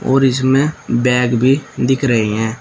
और इसमें बैग भी दिख रहे है।